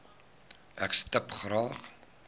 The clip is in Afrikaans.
ek stip graag